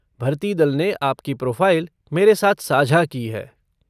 भर्ती दल ने आपकी प्रोफ़ाइल मेरे साथ साझा की है।